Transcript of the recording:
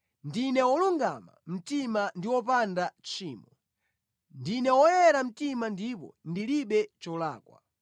‘Ndine wolungama mtima ndi wopanda tchimo; ndine woyera mtima ndipo ndilibe cholakwa.